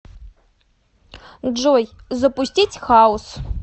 джой запустить хаус